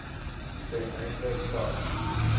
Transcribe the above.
ten einde sars